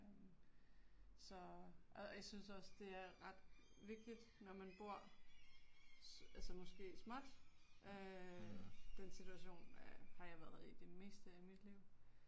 Øh, så. Og jeg synes også det er ret vigtigt når man bor altså måske småt øh den situation har jeg været i det meste af mit liv